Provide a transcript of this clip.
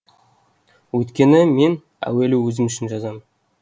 өйткені мен әуелі өзім үшін жазамын